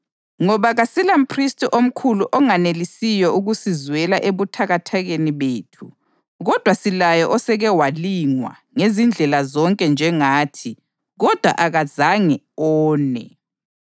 Ngoba kasilamphristi omkhulu onganelisiyo ukusizwela ebuthakathakeni bethu kodwa silaye oseke walingwa ngezindlela zonke njengathi kodwa akazange one.